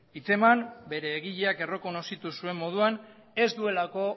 hitzeman bere egileak errekonozitu zuen moduan ez duelako